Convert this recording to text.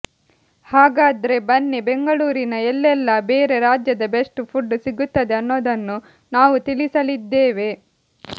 ಹಾಗಾದ್ರೆ ಬನ್ನಿ ಬೆಂಗಳೂರಿನ ಎಲ್ಲೆಲ್ಲಾ ಬೇರೆ ರಾಜ್ಯದ ಬೆಸ್ಟ್ ಫುಡ್ ಸಿಗುತ್ತದೆ ಅನ್ನೋದನ್ನು ನಾವು ತಿಳಿಸಲಿದ್ದೇವೆ